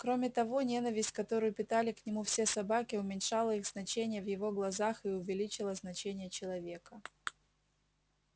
кроме того ненависть которую питали к нему все собаки уменьшала их значение в его глазах и увеличивала значение человека